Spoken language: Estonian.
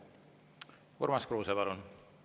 Urmas Kruuse, palun!